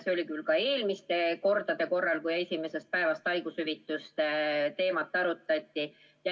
See oli küll ka eelmistel kordadel, kui esimesest päevast makstavate haigushüvitiste teemat arutati.